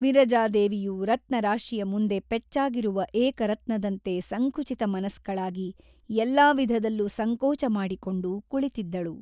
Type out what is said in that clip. ವಿರಜಾದೇವಿಯು ರತ್ನರಾಶಿಯ ಮುಂದೆ ಪೆಚ್ಚಾಗಿರುವ ಏಕರತ್ನದಂತೆ ಸಂಕುಚಿತಮನಸ್ಕಳಾಗಿ ಎಲ್ಲಾ ವಿಧದಲ್ಲೂ ಸಂಕೋಚಮಾಡಿಕೊಂಡು ಕುಳಿತಿದ್ದಳು.